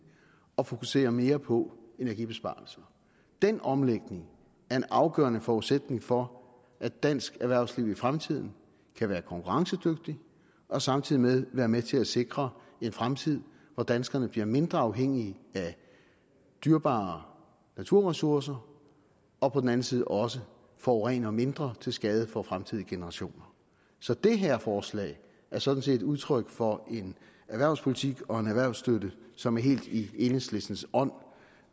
og fokuserer mere på energibesparelser den omlægning er en afgørende forudsætning for at dansk erhvervsliv i fremtiden kan være konkurrencedygtigt og samtidig være med til at sikre en fremtid hvor danskerne bliver mindre afhængige af dyrebare naturressourcer og på den anden side også forurener mindre til mindre skade for fremtidige generationer så det her forslag er sådan set udtryk for en erhvervspolitik og en erhvervsstøtte som er helt i enhedslistens ånd